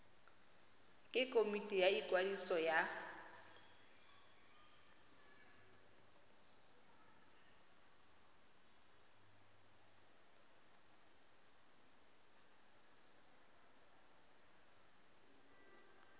ke komiti ya ikwadiso ya